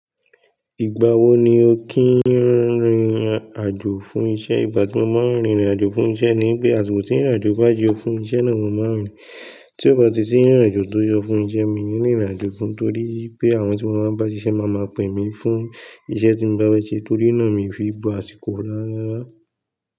Ìgbà wo ni o kìí rìnrìn àjò fún isẹ́? Ìgbà tí mo máa ń rìnrìn àjò fún isẹ́ ni pé, àsìkò tí ìrìn àjò bá yọ fún isẹ́ náà mo máa ń rìn. Tí ó bá ti sí ìrìn àjò tó yọ fún isẹ́ mi nìí rìnrìn àjò fún, torí pé àwọn tí mo bá ń bá sí iṣẹ́ máa ma pè mí fún isẹ́ tí mo bá fe se, torí náà mi fi bo àsìkò rárá.